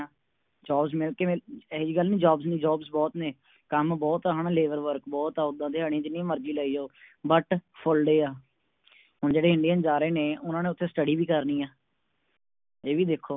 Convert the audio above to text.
Jobs ਮਿਲ ਕਿਵੇ ਇਹੀ ਜਿਹੀ ਗੱਲ ਨੀ Jobs ਨੀ Jobs ਬੋਹੋਤ ਨੇ ਕੰਮ ਬੋਹੋਤ ਹਨ Labour work ਬੋਹੋਤ ਆ ਉਦਾ ਦਿਹਾੜੀ ਜਿੰਨੀ ਮਰਜੀ ਲਈ ਜਾਓ But full day ਆ ਹੁਣ ਜਿਹੜੇ Indian ਆ ਰਹੇ ਨੇ ਓਹਨਾ ਨੇ ਓਥੇ Study ਵੀ ਕਰਨੀ ਆ ਇਹ ਵੀ ਦੇਖੋ